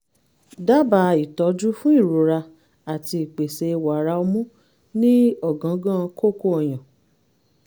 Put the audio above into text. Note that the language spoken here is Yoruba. dábàá ìtọ́jú fún ìrora àti ìpèsè wàrà ọmú ní ọ̀gángán kókó ọyàn